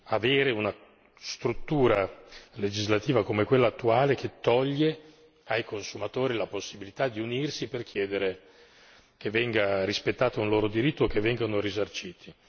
avere una struttura legislativa come quella attuale che toglie ai consumatori la possibilità di unirsi per chiedere che venga rispettato un loro diritto, che vengano risarciti.